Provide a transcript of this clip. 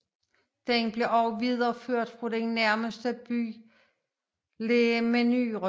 Den blev videreført fra den nærmest liggende by Les Menuires